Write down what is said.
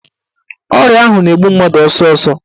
Ọrịa ahụ na-egbu mmadụ ọsọsọ.